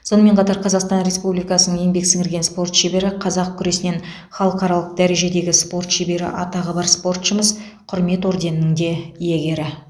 сонымен қатар қазақстан республикасының еңбек сіңірген спорт шебері қазақ күресінен халықаралық дәрежедегі спорт шебері атағы бар спортшымыз құрмет орденінің де иегері